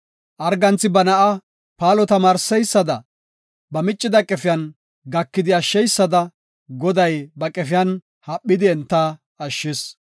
Arganthi ba na7a paalo tamaarseysada, ba miccida qefiyan gakidi ashsheysada, Goday ba qefiyan haphidi enta ashshis.